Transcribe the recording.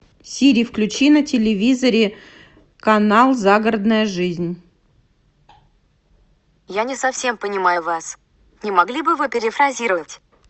сири включи на телевизоре канал загородная жизнь